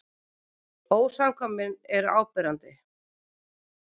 Ósamkvæmnin var áberandi.